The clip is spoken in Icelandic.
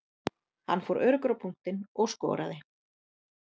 Hann fór öruggur á punktinn og skoraði.